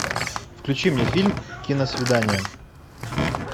включи мне фильм киносвидание